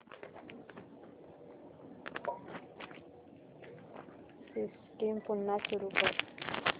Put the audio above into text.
system पुन्हा सुरू कर